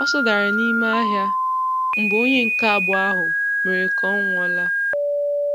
Ọsọ dárá n’ime ahịa mgbe onye nke abụọ ahụ mere ka ọ nwụọ́la.